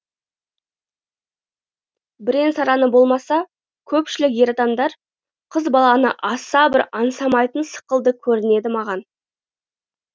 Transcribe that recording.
бірең сараңы болмаса көпшілік ер адамдар қыз баланы аса бір аңсамайтын сықылды көрінеді маған